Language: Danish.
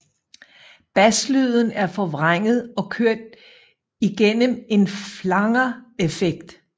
Baslyden er forvrænget og kørt i gennem en flanger effekt